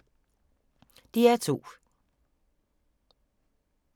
DR2